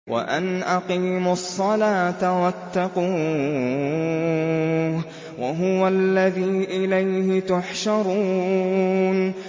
وَأَنْ أَقِيمُوا الصَّلَاةَ وَاتَّقُوهُ ۚ وَهُوَ الَّذِي إِلَيْهِ تُحْشَرُونَ